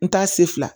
N t'a se fila